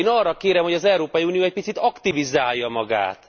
Én azt kérem, hogy az Európai Unió egy picit aktivizálja magát.